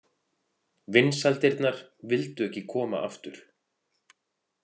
Vinsældirnar vildu ekki koma aftur.